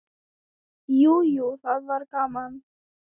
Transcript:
Jú, jú, það var gaman.